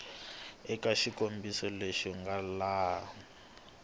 eka xikombiso lexi nga laha